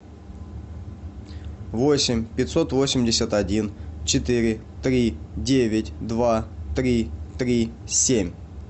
восемь пятьсот восемьдесят один четыре три девять два три три семь